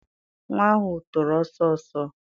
Nwa ahụ toro ọsọ ọsọ.